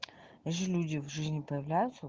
вот же люди в жизни появляются